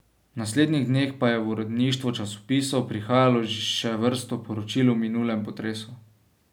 V naslednjih dneh pa je v uredništva časopisov prihajalo še vrsto poročil o minulem potresu.